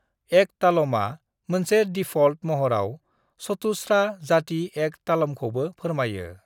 एक तालमआ मोनसे डिफ़ल्ट महराव चतुस्रा-जाति एक तालमखौबो फोरमायो।